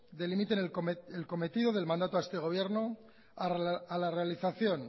delimiten el cometido del mandato a este gobierno a la realización